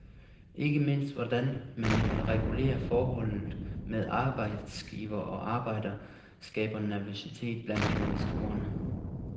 Ikke mindst hvordan man vil regulere forholdet med arbejdsgiver og arbejder, skaber nervøsitet blandt investorerne.